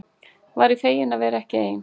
Væri fegin að vera ekki ein.